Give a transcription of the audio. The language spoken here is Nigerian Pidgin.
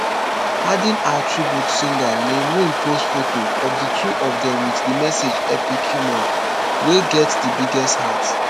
adding her tribute singer leann rimes post foto of di two of dem wit di message epic human wey get di biggest heart